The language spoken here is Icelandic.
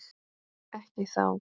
Ekki þá.